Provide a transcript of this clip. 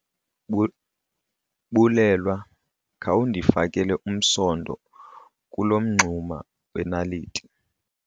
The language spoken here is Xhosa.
Bulelwa, khawundifakele umsonto kulo mngxuma wenaliti.